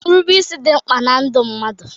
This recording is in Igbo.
Irube isi dị mkpa na ndụ mmadụ.